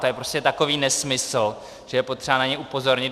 To je prostě takový nesmysl, že je potřeba na něj upozornit.